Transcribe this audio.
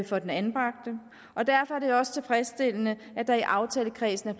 for den anbragte og derfor er det også tilfredsstillende at der i aftalekredsen er